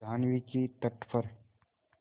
जाह्नवी के तट पर